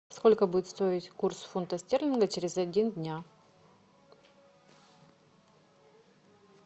сколько будет стоить курс фунта стерлинга через один дня